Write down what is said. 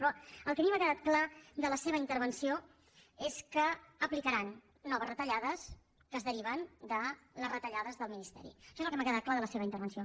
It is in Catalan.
però el que a mi m’ha quedat clar de la seva intervenció és que aplicaran noves retallades que es deriven de les retallades del ministeri això és el que m’ha quedat clar de la seva intervenció